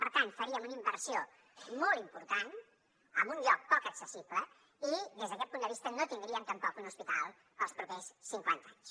per tant faríem una inversió molt important en un lloc poc accessible i des d’aquest punt de vista no tindríem tampoc un hospital per als propers cinquanta anys